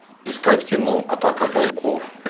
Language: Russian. искать кино атака пауков